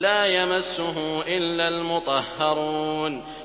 لَّا يَمَسُّهُ إِلَّا الْمُطَهَّرُونَ